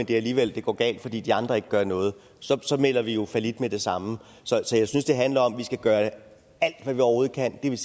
det alligevel går galt fordi de andre ikke gør noget så melder vi jo fallit med det samme så jeg synes det handler om at vi skal gøre alt hvad vi overhovedet kan det vil